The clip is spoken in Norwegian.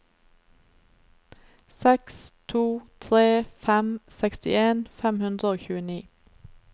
seks to tre fem sekstien fem hundre og tjueni